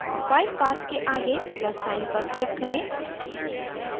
file path के आगे plus sign पर click करें